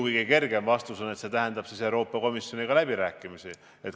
Kõige kergem vastus on, et ju toob rahastuse muutmine kaasa uued läbirääkimised Euroopa Komisjoniga.